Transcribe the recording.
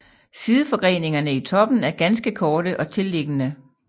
Sideforgreningerne i toppen er ganske korte og tilliggende